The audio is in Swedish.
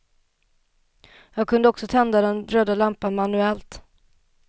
Jag kunde också tända den röda lampan manuellt.